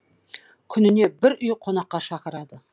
күніне бір үй қонаққа шақырады